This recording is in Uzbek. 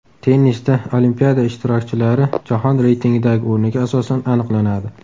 Tennisda Olimpiada ishtirokchilari jahon reytingidagi o‘rniga asosan aniqlanadi.